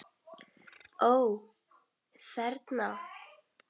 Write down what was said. Ó: Þerna?